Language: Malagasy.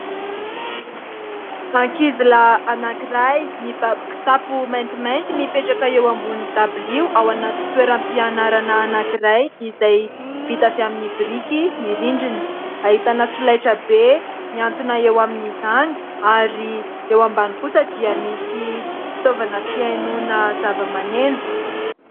Ankizilahy anankiray mibaby kitapo maintimainty mipetraka eo ambony dabilio ao anaty toeram-pianarana anankiray izay vita avy amin'ny biriky ny rindrina, ahitana solaitra be mihantona eo amin'izany ary eo ambany kosa dia misy fitaovana fihainoana zavamaneno.